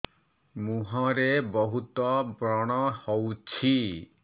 ମୁଁହରେ ବହୁତ ବ୍ରଣ ହଉଛି